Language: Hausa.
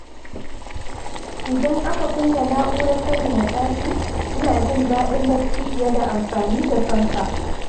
Idan aka kunna na'urar sanyaya ɗaki, ina jin daɗin bacci fiye da amfani da fanka.